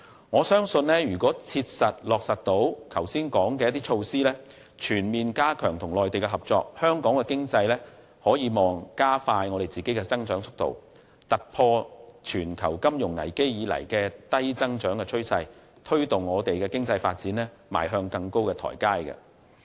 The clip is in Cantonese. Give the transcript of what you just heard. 我相信只要能夠切實落實剛才提及的措施，全面加強與內地的合作，香港將有望加快經濟增長的速度，突破自全球金融危機以來的低增長趨勢，並推動香港的經濟發展邁向更高的台階。